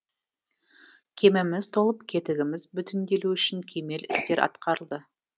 кеміміз толып кетігіміз бүтінделу үшін кемел істер атқарылды